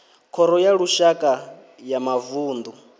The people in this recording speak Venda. khoro ya lushaka ya mavunḓu